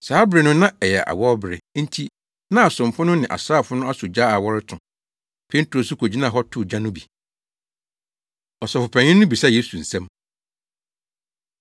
Saa bere no na ɛyɛ awɔwbere, enti na asomfo no ne asraafo no asɔ gya a wɔreto. Petro nso kogyinaa hɔ too gya no bi. Ɔsɔfopanyin No Bisa Yesu Nsɛm